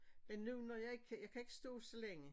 Men nu når jeg ikke kan jeg kan ikke stå så længe